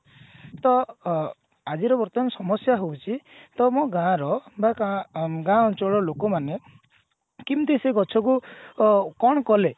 ତ ଅ ଆଜିର ବର୍ତମାନ ସମସ୍ଯା ହଉଛି ତମ ଗାଁ ର ବା ଗାଁ ଅଞ୍ଚଳର ଲୋକମାନେ କେମତି ସେ ଗଛ କୁ ଅ କଣ କଲେ